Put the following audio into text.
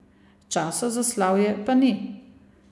Časa za slavje pa ni.